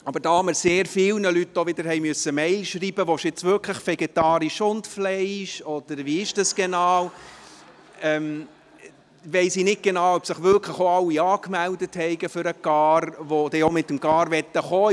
Da wir aber sehr vielen Leuten wieder E-Mails schreiben mussten, ob sie wirklich vegetarisch und Fleisch wollen, oder wie das genau ist, weiss ich nicht genau, ob sich wirklich auch alle für die Carfahrt angemeldet haben, die auch mit dem Car anreisen wollen.